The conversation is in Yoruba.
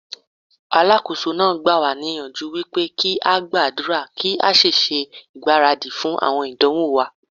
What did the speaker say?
Alákóso náà gbà wá níyànjú wípé kí á gbàdúrà kí á sì ṣe ìgbáradì fún àwọn ìdánwò wa.